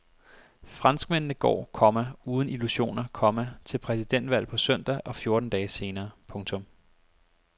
Franskmændene går, komma uden illusioner, komma til præsidentvalg på søndag og fjorten dage senere. punktum